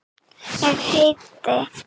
Ég heiti